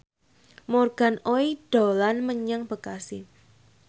Morgan Oey dolan menyang Bekasi